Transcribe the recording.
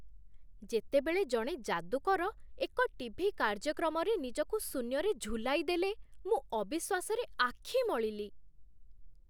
ଯେତେବେଳେ ଜଣେ ଯାଦୁକର ଏକ ଟିଭି କାର୍ଯ୍ୟକ୍ରମରେ ନିଜକୁ ଶୂନ୍ୟରେ ଝୁଲାଇଦେଲେ, ମୁଁ ଅବିଶ୍ୱାସରେ ଆଖି ମଳିଲି।